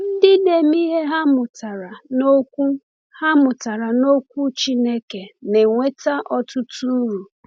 Ndị na-eme ihe ha mụtara n’Okwu ha mụtara n’Okwu Chineke na-enweta ọtụtụ uru.